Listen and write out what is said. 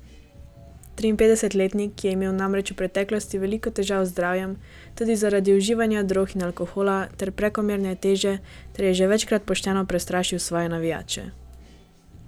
Triinpetdesetletnik je imel namreč v preteklosti veliko težav z zdravjem tudi zaradi uživanja drog in alkohola ter prekomerne telesne teže ter je že večkrat pošteno prestrašil svoje navijače.